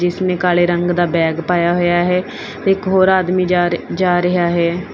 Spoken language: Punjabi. ਜਿਸ ਨੇ ਕਾਲੇ ਰੰਗ ਦਾ ਬੈਗ ਪਾਇਆ ਹੋਇਆ ਹੈ ਇੱਕ ਹੋਰ ਆਦਮੀ ਜਾ ਜਾ ਰਿਹਾ ਹੈ।